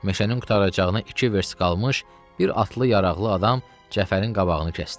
Meşənin qurtaracağına iki vers qalmış, bir atlı yaraqlı adam Cəfərin qabağını kəsdi.